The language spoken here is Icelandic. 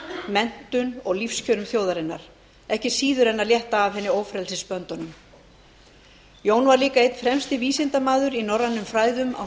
menntun og lífskjörum þjóðarinnar ekki síður en að létta af henni ófrelsisböndunum jón var líka einn fremsti vísindamaður í norrænum fræðum á